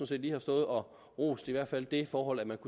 set lige har stået og rost i hvert fald det forhold at man